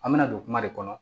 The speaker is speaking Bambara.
An bɛna don kuma de kɔnɔ